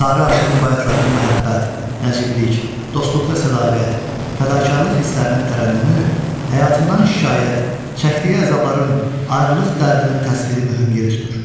Sarı Aşığın bayatılarında məhəbbət, nəciblik, dostluqda sədaqət, fədakarlıq hisslərinin tərənnümü, həyatından şikayət, çəkdiyi əzabların, ayrılıq dərdinin təsviri mühüm yer tutur.